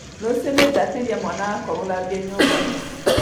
Rũciũ nĩngateithia mwana wakwa gũthambia nyũmba